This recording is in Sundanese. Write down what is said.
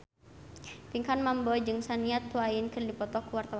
Pinkan Mambo jeung Shania Twain keur dipoto ku wartawan